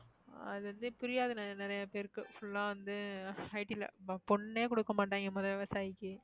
அது வந்து புரியாது நிறைய பேருக்கு full ஆ வந்து IT ல பொண்ணே கொடுக்க மாட்டாங்க முதல்ல விவசாயிக்கு